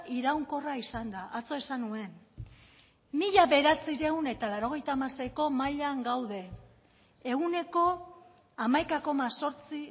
iraunkorra izan da atzo esan nuen mila bederatziehun eta laurogeita hamaseiko mailan gaude ehuneko hamaika koma zortzi